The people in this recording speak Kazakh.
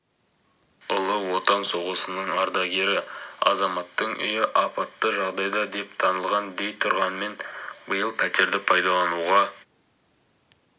ұлы отан соғысының ардагері азаматтың үйі апатты жағдайда деп танылған дей тұрғанмен биыл пәтерді пайдалануға